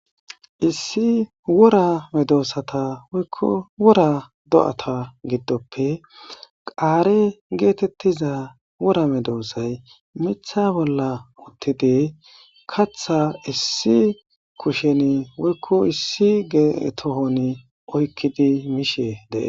Issi wora medoossata woykko wora do7ata giddoppe qaare geetettiza wora medoosay mitha bolla uttidi katha issi kusheni woykko issi geetohon oykkidi miishe dee.